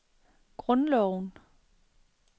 grundloven